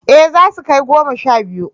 Eh zasu kai goma sha biyu